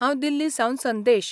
हांव दिल्लीसावन संदेश.